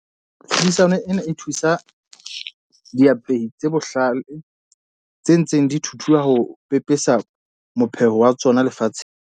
Tlhodisano ena e thusa diapehi tse bohlale tse ntseng di thuthua ho pepesa mopheho wa tsona lefatsheng.